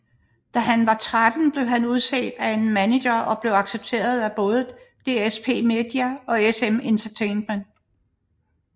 Da han var 13 blev han udset af en maneger og blev accepteret både af DSp media og SM Entertainment